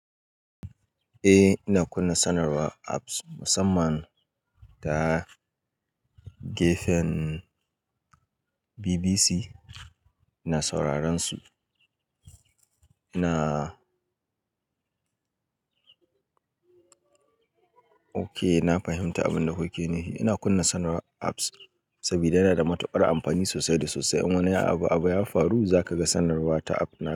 Eh ina kunna sanarwa apps musamman ta gefen bbc ina sauraren su. Ina oke, na fahimta abin da kuke nufi, ina kunna sanarwar apps saboda yana da matuƙar amfani sosai da sosai. In wani abu, abu ya faru, za ka ga sanarwa ta app ɗin.